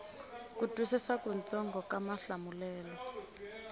ku twisisa kutsongo ka mahlamulelo